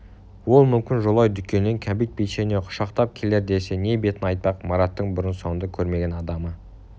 ол мүмкін жолай дүкеннен кәмпит печенье құшақтап келер десе не бетін айтпақ мараттың бұрын-соңды көрмеген адамы